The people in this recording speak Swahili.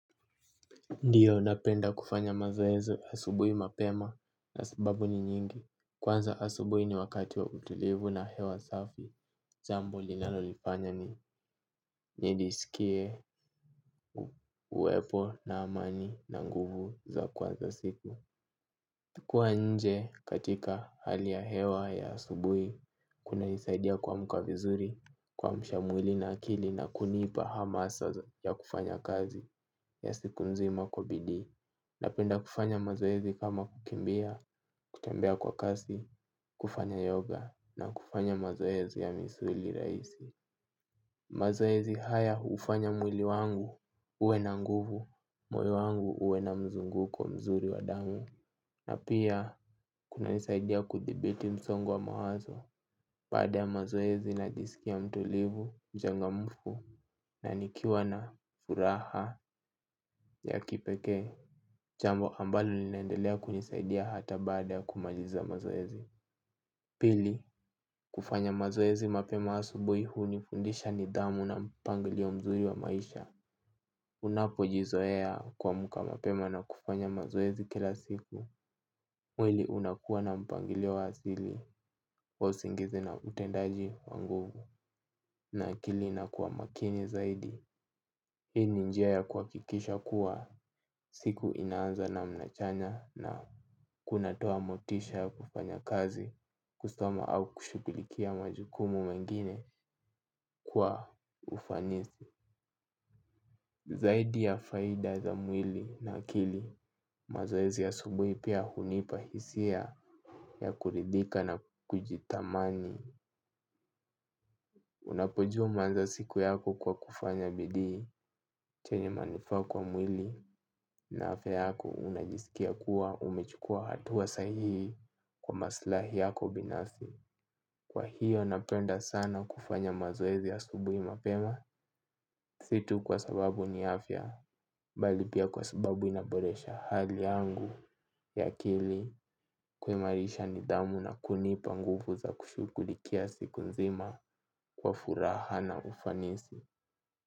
Ndiyo, napenda kufanya mazoezi asubuhi mapema na sababu ni nyingi. Kwanza asubuhi ni wakati wa utulivu na hewa safi. Jambo linalonifanya nijisikie uwepo na amani na nguvu za kuanza siku. Kuwa nje katika hali ya hewa ya asubuhi, kuna nisaidia kuamka vizuri, kuamsha mwili na akili na kunipa hamasa ya kufanya kazi ya siku nzima kwa bidii. Napenda kufanya mazoezi kama kukimbia, kutembea kwa kasi, kufanya yoga na kufanya mazoezi ya misuli rahisi. Mazoezi haya ufanya mwili wangu uwe na nguvu, moyo wangu uwe na mzunguko mzuri wa damu. Na pia kunanisaidia kuthibiti msongo wa mawazo. Baada ya mazoezi najisikia mtulivu, mchangamfu na nikiwa na furaha ya kipekee. Jambo ambalo linaendelea kunisaidia hata baada ya kumaliza mazoezi. Pili, kufanya mazoezi mapema asubuhi unifundisha nidhamu na mpangilio mzuri wa maisha. Unapojizoea kuamka mapema na kufanya mazoezi kila siku. Mwili unakuwa na mpangilio wa asili wa usingizi na utendaji wa nguvu na akili na kuwa makini zaidi. Hii ni njia ya kuhakikisha kuwa siku inaanza namna chanya na kunatoa motisha ya kufanya kazi kusoma au kushughulikia majukumu mengine kwa ufanisi. Zaidi ya faida za mwili na akili mazoezi ya asubuhi pia hunipa hisia ya kuridhika na kujithamani. Unapojua umeanza siku yako kwa kufanya bidii chenye manufaa kwa mwili na afya yako unajisikia kuwa umechukua hatua sahihi kwa maslahi yako binasi. Kwa hiyo napenda sana kufanya mazoezi asubuhi mapema si tu kwa sababu ni afya bali pia kwa sababu inaboresha hali yangu ya akili kuimarisha nidhamu na kunipa nguvu za kushughulikia siku nzima kwa furaha na ufanisi.